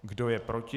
Kdo je proti?